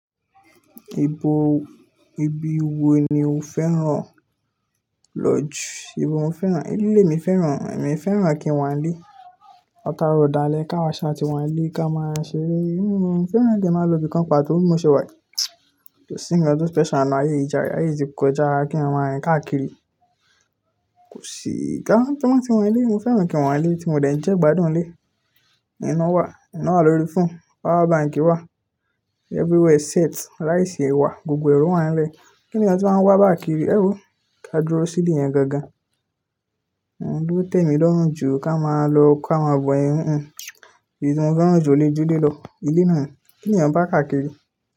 Ìbò, ibi wo ni o fẹ́ràn? Lodge. Ibo mo fẹ́ràn? Ilé le mi fẹ́ràn, èmi fẹ́ràn kí n wà nílé. Lataarọ̀ dále kìí àwa sa tí wà nílé ká máa ṣeré. Ilé mi fẹ́ràn kí a máa lọ ibi kan pàtó, bí mo ṣe wà, kò sí nǹkan tó special nínú, ayé ìjàre, ayé ti kọjá kí a máa rìn káàkiri. Kò sí, ká kí wọ́n tí wọ́n nílé, mo fẹ́ràn kí n wà nílé tí mo dẹ̀ ń jẹ́ gbádùn ilé. Iná wà, iná lórí phone, power bank wà, everywhere set, ráìsì wà, gbogbo ẹ̀e wà nílé. Kíni ọ̀hún tí wọ́n máa ń wá káà kiri? Éwo ká dúró sí ilé yẹn gangan. Ohun ló tẹ mí lọ́rùn jù kí a máa lọ kí àa má bọ yẹn, ìbí tí mo fẹ́ràn jù lè jú lé lọ. Ilé náà ni, kíni èèyàn bá à káàkiri?